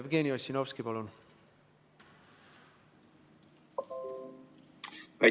Jevgeni Ossinovski, palun!